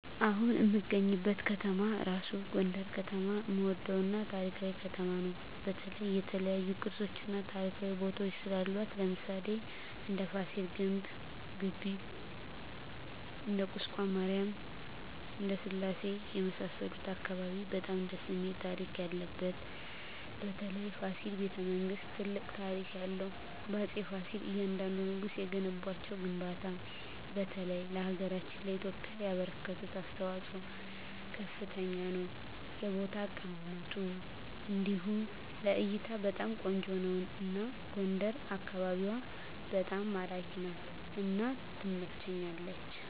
አሁን እምገኝበት ከተማ እራሡ ጎንደር ከተማ እምወደው እና ታሪካዊ ከተማ ነው በተለይ የተለያዮ ቅርሶች እና ታሪካዊ ቦታወች ስላሏት ለምሣሌ እንደ ፍሲል ግቢ እንደ ቁስቋም ማሪያም እንደ ስላሴ የመሣሠሉት አካባቢ በጣም ደስ እሚል ታሪክ ያለበት በተለይ ፋሲል በተ መንግስት ትልቅ ታሪክ ያለው በአፄ ፍሲል እያንደንዱ ንጉስ የገነቧቸው ግንባታ በተለይ ለሀገራችን ለኢትዮጵያ ያበረከቱት አስተዋፅኦ ከፍተኛ ነው የቦታ አቀማመጡ እንዲሁ ለእይታ በጣም ቆንጆ ነው አና ጎንደር አካቢዋ በጣም ማራኪ ናት እና ትመቸኛለች